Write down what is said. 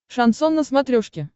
шансон на смотрешке